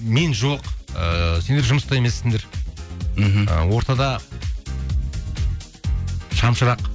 мен жоқ ыыы сендер жұмыста емессіңдер ортада шамшырақ